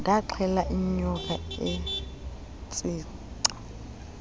ndaxela inyoka etshica